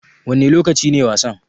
Wanne lokaci ne wasan?